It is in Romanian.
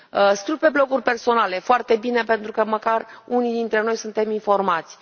Scriu pe bloguri personale foarte bine, pentru că măcar unii dintre noi suntem informați.